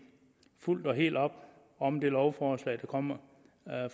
fuldt og helt op om det lovforslag der kommer